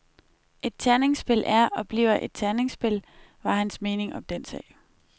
Et terningspil er og bliver et terningspil, var hans mening om den sag.